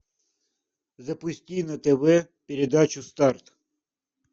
запусти на тв передачу старт